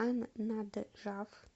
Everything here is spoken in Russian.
ан наджаф